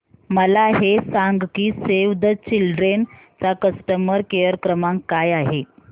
मला हे सांग की सेव्ह द चिल्ड्रेन चा कस्टमर केअर क्रमांक काय आहे